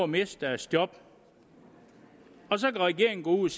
miste deres job og så kan regeringen gå ud